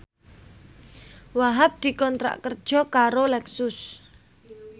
Wahhab dikontrak kerja karo Lexus